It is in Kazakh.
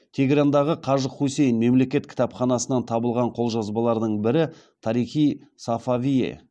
тегерандағы қажы хусейн малек кітапханасынан табылған қолжазбалардың бірі тарих и сафавие